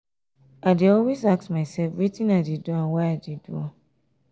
i dey always ask mysef wetin i dey do and why i dey do am.